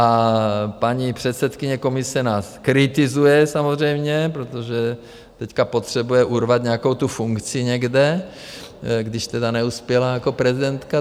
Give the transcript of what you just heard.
A paní předsedkyně komise nás kritizuje samozřejmě, protože teď potřebuje urvat nějakou tu funkci někde, když tedy neuspěla jako prezidentka.